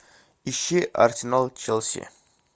ищи арсенал челси